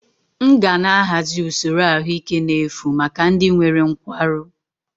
M ga na-ahazi usoro ahụike n'efu maka ndị nwere nkwarụ